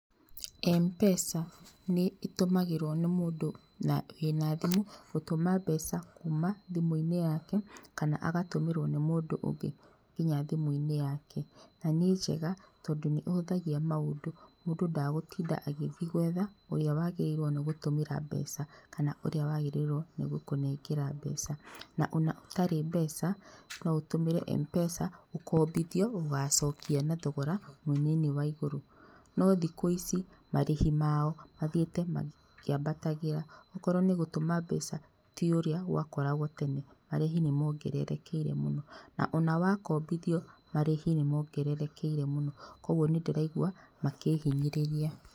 Mpesa nĩ ĩtũmagirwo nĩ mũndũ wĩna thimũ gũtũma mbeca kuma thimũ-inĩ yake kana agatũmĩrwo nĩ mũndũ ũngĩ nginya thimũ-inĩ yake. Na nĩ njega tondũ nĩ ĩhũthagia maũndũ, mũndũ ndagũtinda agĩthiĩ gwetha ũrĩa wagĩtĩirwo nĩ gũtũmĩra mbeca, kana ũrĩa wagĩrĩirwo nĩ gũkũnengera mbeca. Na ona ũtarĩ mbeca, no ũtũmĩre Mpesa, ũkombithio, ũgacokia na thogora mũnini wa igũrũ. No thikũ ici marĩhi mao mathiĩte makĩambatagĩra. Okorwo nĩ gũtũma mbeca, tiũrĩa gwakoragwo tene. Marĩhi nĩ mongererekeire mũno, na ona wakombithio, marĩhi nĩ mongererekeire mũno koguo nĩ ndĩraigua makĩhinyĩrĩria.